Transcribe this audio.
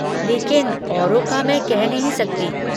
लेकिन औरों का मैं कह नहीं सकती।